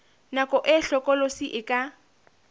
nako e hlokolosi e ka